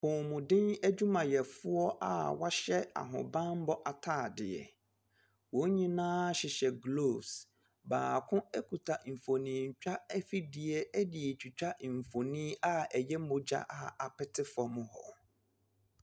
Apɔmuden adwumayɛfoɔ a wɔahyɛ ahobammɔ ataade, wɔn nyinaa hyehyɛ gloves, baako kita mfonintwa afidie de retwitwa mfonin a ɛyɛ mmogya a apete fam hɔ.